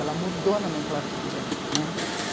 Ela mudou a nomenclatura, né.